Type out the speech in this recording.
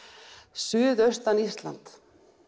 suðaustan Íslands